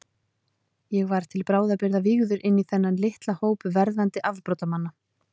Ég var til bráðabirgða vígður inní þennan litla hóp verðandi afbrotamanna.